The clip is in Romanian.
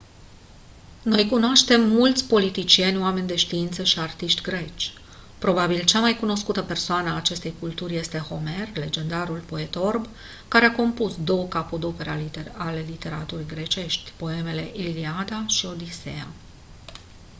noi cunoaștem mulți politicieni oameni de știință și artiști greci probabil cea mai cunoscută persoană a acestei culturi este homer legendarul poet orb care a compus 2 capodopere ale literaturii grecești poemele iliada și odiseea